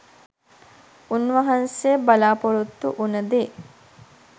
උන්වහන්සේ බලාපොරොත්තු වුණ දේ